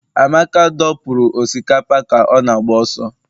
Amaka dọpụrụ osikapa ka ọ na-agba ọsọ